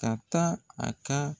Ka taa a ka